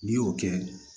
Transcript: N'i y'o kɛ